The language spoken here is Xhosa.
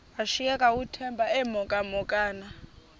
washiyeka uthemba emhokamhokana